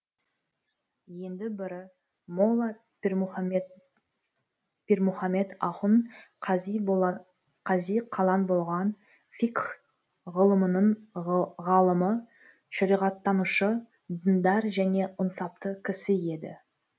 енді бірі молла пирмұхаммед ахун қази қалан болған фикх ғылымының ғалымы шариғаттанушы діндар және ынсапты кісі еді